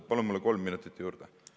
Palun mulle kolm minutit juurde!